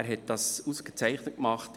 Er hat das ausgezeichnet gemacht.